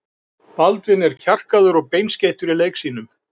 Baldvin er kjarkaður og beinskeyttur í leik sínum.